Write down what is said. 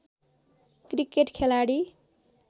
cricket खेलाडी